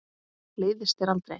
Leiðist þér aldrei?